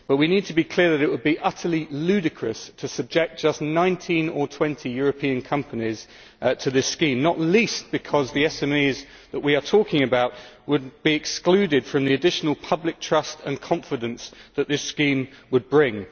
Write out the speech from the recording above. But we need to be clear that it would be utterly ludicrous to subject just 19 or 20 European companies to this scheme, not least because the SMEs that we are talking about would be excluded from the additional public trust and confidence that this scheme would bring.